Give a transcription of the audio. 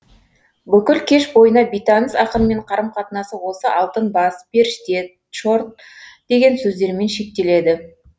бүкіл кеш бойына бейтаныс ақынмен қарым қатынасы осы алтын бас періште тчорт деген сөздермен шектеледі